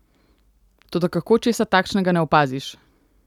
Toda kako česa takšnega ne opaziš!